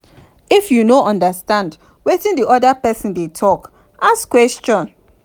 if you no understand wetin di oda person dey talk ask question